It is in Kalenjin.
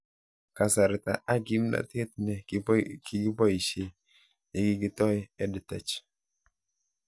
Kasarta ak kimnatet ne kikipoishe ye kikitooi EdTech